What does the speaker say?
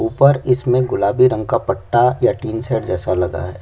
ऊपर इसमें गुलाबी रंग का पट्टा या टीन सेड जैसा लगा हैं।